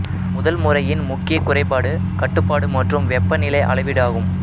முதல் முறையின் முக்கிய குறைபாடு கட்டுப்பாடு மற்றும் வெப்பநிலை அளவீடு ஆகும்